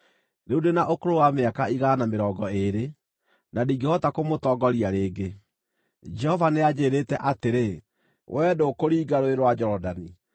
“Rĩu ndĩ na ũkũrũ wa mĩaka igana na mĩrongo ĩĩrĩ, na ndingĩhota kũmũtongoria rĩngĩ. Jehova nĩanjĩĩrĩte atĩrĩ, ‘Wee ndũkũringa Rũũĩ rwa Jorodani.’